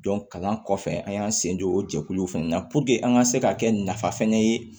kalan kɔfɛ an y'an sen don o jɛkulu fana na an ka se ka kɛ nafa fɛnɛ ye